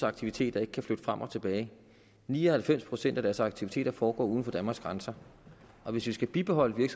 aktiviteter ikke kan flytte frem og tilbage ni og halvfems procent af deres aktiviteter foregår uden for danmarks grænser og hvis vi skal bibeholde